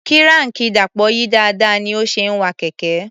Kíráànkì Dàpọ̀ yí dáadáa ní ó ṣe ń wa kẹ̀kẹ́.